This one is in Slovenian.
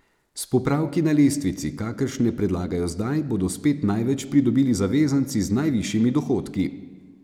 S popravki na lestvici, kakršne predlagajo zdaj, bodo spet največ pridobili zavezanci z najvišjimi dohodki.